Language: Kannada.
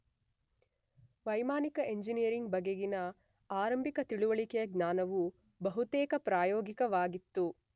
ವೈಮಾನಿಕ ಎಂಜಿನಿಯರಿಂಗ್ ಬಗೆಗಿನ ಆರಂಭಿಕ ತಿಳಿವಳಿಕೆಯ ಜ್ಞಾನವು ಬಹುತೇಕ ಪ್ರಾಯೋಗಿಕವಾಗಿತ್ತು